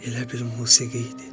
Elə bir musiqi idi.